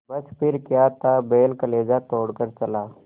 बस फिर क्या था बैल कलेजा तोड़ कर चला